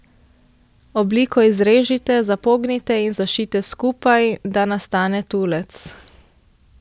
Obliko izrežite, zapognite in zašijte skupaj, da nastane tulec.